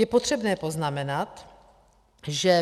Je potřebné poznamenat, že